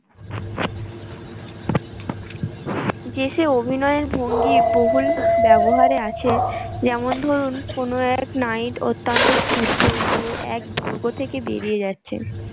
দেশে অভিনয়ের ভুঙ্গি বহুল ব্যবহারে আছে যেমন ধরুন কোনো এক night অত্যান্ত ক্ষুদ্র হয়ে এক দৈঘ্য থেকে বেরিয়ে যাচ্ছে